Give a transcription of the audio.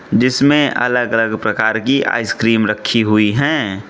जिसमें अलग अलग प्रकार की आइसक्रीम रखी हुई हैं।